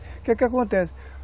Que que acontece